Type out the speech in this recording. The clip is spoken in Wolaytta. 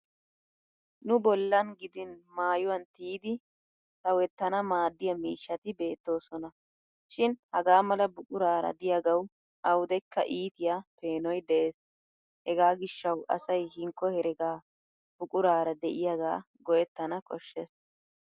Nu bollan gidin maayuwan tiyidi sawettana maaddiya miishshati beettoosona. Shin hagaa mala buquraara diyagawu awudekka ittiya peenoy de'es hegaa gishshawu asay hinkko herega buquraara de'iyaagaa go'ettana koshshes.